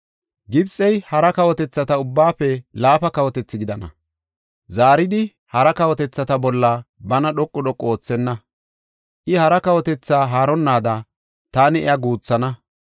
Gibxey hara kawotethata ubbaafe laafa kawotethi gidana. Zaaridi hara kawotethata bolla bana dhoqu dhoqu oothenna; I hara kawotethi haaronnaada taani iya guuthana.